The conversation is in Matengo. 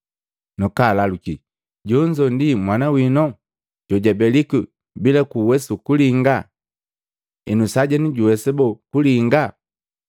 nakalaluki, “Jonzo ndi mwana wino jojabelikwi bila kuwesa kulinga? Henu sajenu juwesiki boo kulinga?”